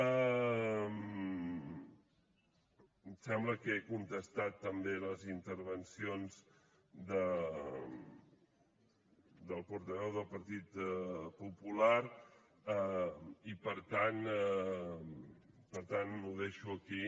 em sembla que he contestat també les intervencions del portaveu del partit popular i per tant ho deixo aquí